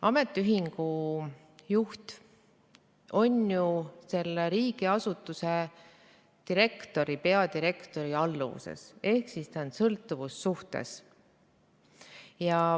Ametiühingu juht on ju selle riigiasutuse peadirektori alluvuses ehk ta on sõltuvussuhtes.